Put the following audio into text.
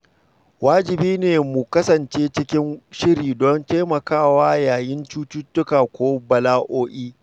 Wajibi ne mu kasance cikin shiri don taimakawa yayin cututtuka ko bala’o’i.